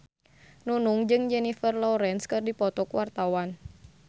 Nunung jeung Jennifer Lawrence keur dipoto ku wartawan